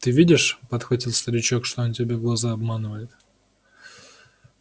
ты видишь подхватил старичок что он тебе глаза обманывает